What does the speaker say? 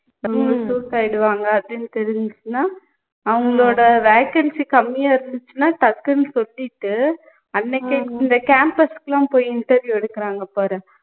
நம்மளுக்கு suit ஆகிடுவாங்க அப்படின்னு தெரிஞ்சுச்சுன்னா அவங்களோட vacancy கம்மியா இருந்துச்சுன்னா டக்குன்னு சொல்லிட்டு அன்னைக்கே இந்த campus கு லாம் போய் interview எடுக்குறாங்க பாரு